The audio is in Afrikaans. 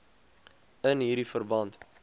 in hierdie verband